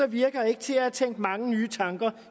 virker ikke til at have tænkt mange nye tanker